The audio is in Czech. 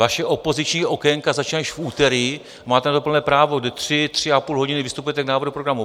Vaše opoziční okénka začínají již v úterý, máte na to plné právo, kdy tři, tři a půl hodiny vystupujete k návrhu programu.